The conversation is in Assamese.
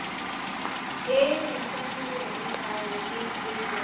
এই recently যে এই তাই APSC কৰিছিলে